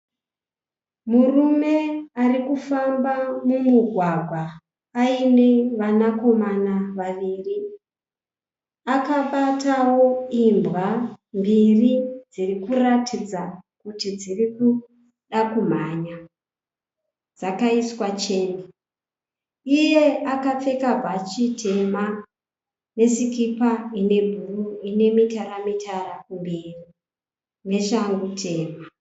Murume arikufamba mumugwagwa aiine vanakomana vaviri. Akabatawo imbwa mbiri dziri kuratidza kuti dziri kuda kumhanya, dzakaiswa cheni. Iye akapfeka bhachi tema nesikipa ine bhuruu ine mitara mitara kumberi neshangu tema.